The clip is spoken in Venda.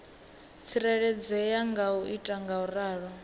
tsireledzea nga u ita ngauralo